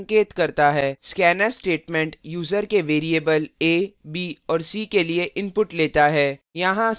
scanf statement user से variables a b और c के लिए input लेता है